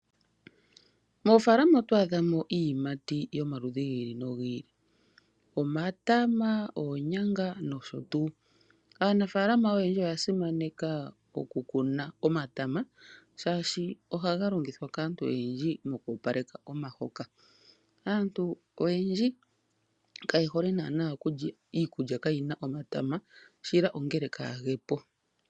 Moofalama oto adhamo iiyimati yomaludhi gi ili nogi ili omatama, oonyanga nosho tuu . Aanafaalama oyendji oya simaneka okukuna omatama shaashi ohaga longithwa kaantu oyendji moku opaleka omahoka. Aantu oyendji kaye hole naana okulya iikulya kayi na omatama shila ongela kaage po.